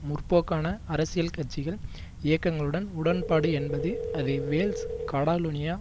முற்போக்கான அரசியல் கட்சிகள் இயக்கங்களுடன் உடன்பாடு என்பது அது வேல்ஸ் காடலோனிய